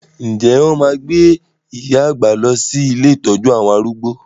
Ǹjẹ́ wọn máa gbé iya àgbà lọ sí ilé ìtọ́jú àwọn arúgbó?